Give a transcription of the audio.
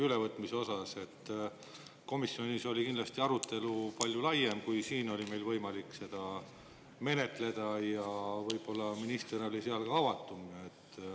Tõepoolest, komisjonis oli direktiivi ülevõtmise arutelu kindlasti palju laiem, kui see siin oli võimalik, ja võib-olla oli minister seal ka avatum.